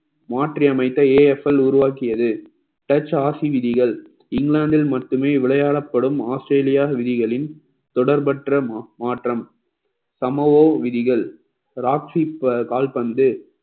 மாற்றி அமைத்த AFL உருவாக்கியது touch ஆசை விதிகள் இங்கிலாந்தில் மட்டுமே விளையாடப்படும் ஆஸ்திரேலியா விதிகளின் தொடர்பற்றமா~ மாற்றம் சம ஓ விதிகள் ராக்ட்சி கால்பந்து